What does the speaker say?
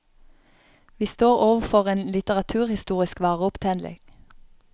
Vi står overfor en litteraturhistorisk vareopptelling.